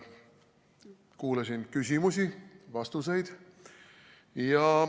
Kuulasin küsimusi ja vastuseid.